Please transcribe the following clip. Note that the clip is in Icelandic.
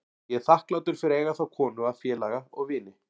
Ég er þakklátur fyrir að eiga þá konu að félaga og vini.